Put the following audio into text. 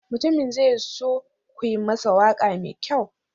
Mutumin zai so ku yi masa waƙa mai kyau.